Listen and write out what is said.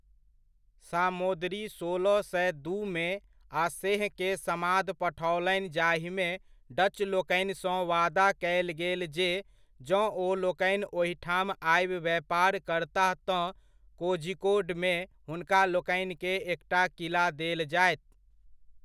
सामोदरी सोलह सए दूमे आसेहकेँ समाद पठओलनि जाहिमे डचलोकनिसँ वादा कयल गेल जे जँ ओलोकनि ओहिठाम आबि व्यापार करताह तँ कोझिकोडमे हुनकालोकनिकेँ एकटा किला देल जायत।